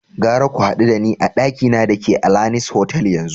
Gara ku hadu da ni a dakina da ke Alanis Hotel yanzu!